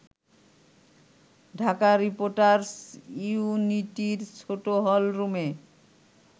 Dhaka reporters ইউনিটির ছোট হলরুমে